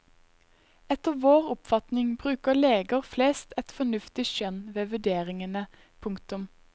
Etter vår oppfatning bruker leger flest et fornuftig skjønn ved vurderingene. punktum